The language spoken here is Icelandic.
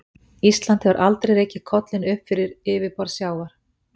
Ísland hefur aldrei rekið kollinn upp fyrir yfirborð sjávar.